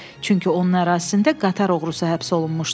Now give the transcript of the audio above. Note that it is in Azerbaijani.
Çünki onun ərazisində qatar oğrusu həbs olunmuşdu.